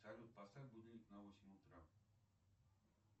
салют поставь будильник на восемь утра